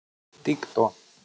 ты кто